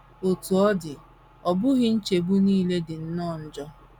Otú ọ dị, ọ bụghị nchegbu nile dị nnọọ njọ.